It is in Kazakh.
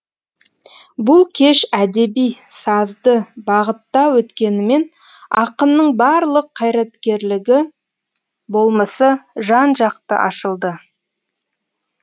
бұл кеш әдеби сазды бағытта өткенімен ақынның барлыққайраткерлігі болмысы жан жақты ашылды